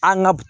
An ka